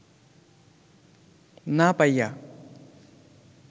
না পাইয়া